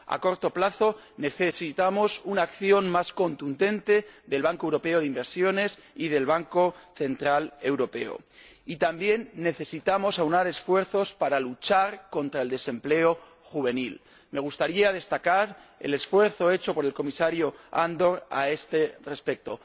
A corto plazo necesitamos una acción más contundente del Banco Europeo de Inversiones y del Banco Central Europeo, y también necesitamos aunar esfuerzos para luchar contra el desempleo juvenil. Me gustaría destacar el esfuerzo hecho por el comisario Andor a este respecto.